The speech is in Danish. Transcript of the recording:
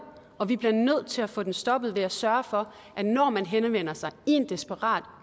og vi bliver nødt til at få den stoppet ved at sørge for at når man henvender sig i en desperat